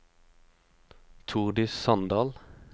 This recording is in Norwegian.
Tordis Sandal